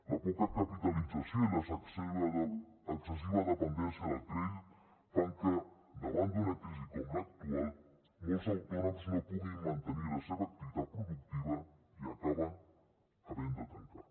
la poca capitalització i l’excessiva dependència del crei fan que davant d’una crisi com l’actual molts autònoms no puguin mantenir la seva activitat productiva i acaben havent de tancar